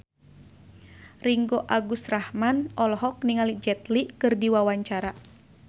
Ringgo Agus Rahman olohok ningali Jet Li keur diwawancara